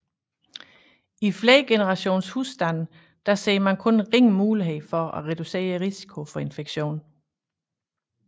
I flergenerationshusstande ser han kun ringe mulighed for at reducere risikoen for infektion